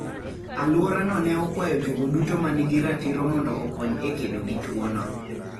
Alworano ne okwayo jogo duto ma nigi ratiro mondo okony e kedo gi tuono.